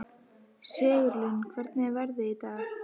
Sigurlín, hvernig er veðrið í dag?